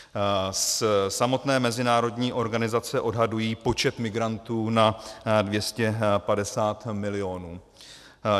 Samotné mezinárodní organizace odhadují počet migrantů na 250 milionů.